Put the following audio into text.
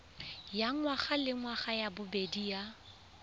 ya ngwagalengwaga ya bobedi ya